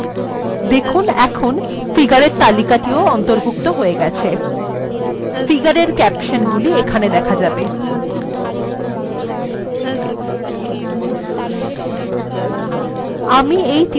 figure এর ক্যাপশন্গুলি এখানে দেখা যাবে